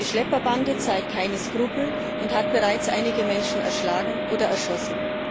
Die Schlepperbande zeigt keine Skrupel und hat bereits einige Menschen erschlagen oder erschossen.